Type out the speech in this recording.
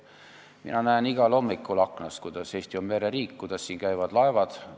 Mina näen igal hommikul aknast, et Eesti on mereriik, et siin käivad laevad.